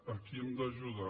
aquí hem d’ajudar